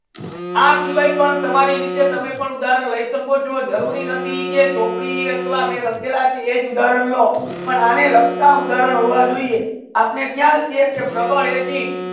આ શિવયે પણ તામે તમારી પણ રીતે ઉદાહરણ લે સકો છો જરુરી નથી છે ચોપડી આથવા કે મે લાખેલા એ જે ઉદાહરણ લો પણ અને લગતા ઉદાહરણ હોવ જોયે આપને ખ્યાલ છે પ્રબલ acid